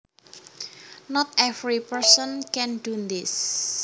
Not every person can do this